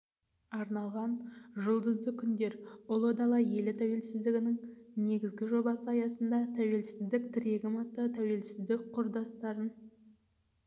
арналған жұлдызды күндер ұла дала елі тәуелсіздіктің негізі жобасы аясында тәуелсіздік тірегім атты тәуелсіздік құрдастарын